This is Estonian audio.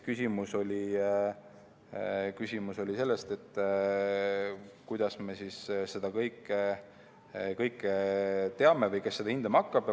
Küsimus oli selles, kuidas me seda kõike teame või kes seda hindama hakkab.